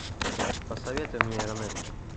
посоветуй мне ранетки